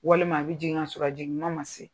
Walima a bɛ jigin kasɔrɔ a jigin kuman ma se.